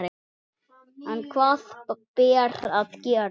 En hvað ber að gera?